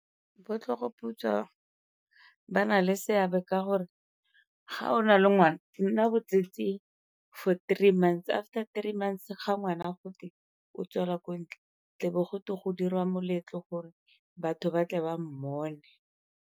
Bo tlhogoputswa ba na le seabe ka gore ga o na le ngwana, o nna botsetsi for three months after three months ga ngwana godile o tswela ko ntle tlebe go dirwa moletlo gore batho ba tle ba mmone.